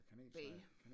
Bage